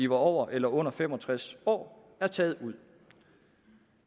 var over eller under fem og tres år er taget ud